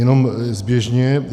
Jenom zběžně.